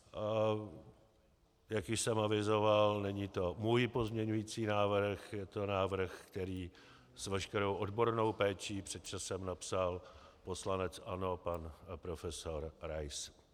Jak již jsem avizoval, není to můj pozměňující návrh, je to návrh, který s veškerou odbornou péčí před časem napsal poslanec ANO pan profesor Rais.